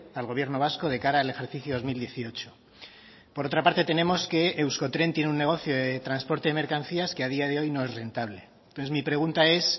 al gobierno vasco de cara al ejercicio dos mil dieciocho por otra parte tenemos que euskotren tiene un negocio de transporte de mercancías que a día de hoy no es rentable entonces mi pregunta es